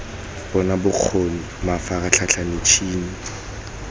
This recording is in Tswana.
bona bokgo ni mafaratlhatlha mitshini